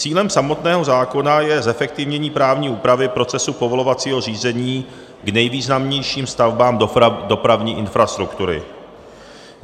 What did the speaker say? Cílem samotného zákona je zefektivnění právní úpravy procesu povolovacího řízení k nejvýznamnějším stavbám dopravní infrastruktury.